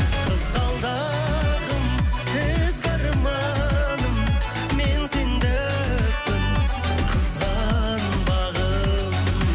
қызғалдым ізгі арманы мен сендікпін қызғанбағын